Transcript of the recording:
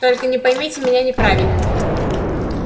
только не поймите меня неправильно